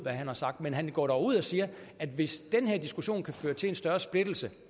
han har sagt men han går dog ud og siger at hvis den her diskussion kan føre til en større splittelse